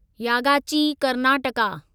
Yagachi Karnataka